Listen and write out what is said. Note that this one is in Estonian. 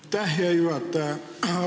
Aitäh, hea juhataja!